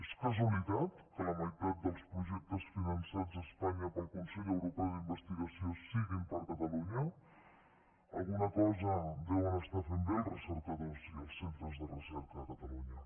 és casualitat que la meitat dels projectes finançats a espanya pel consell europeu d’investigació siguin per a catalunya alguna cosa deuen estar fent bé els recercadors i els centres de recerca a catalunya